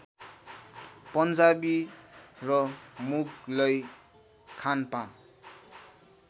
पन्जाबी र मुगलई खानपान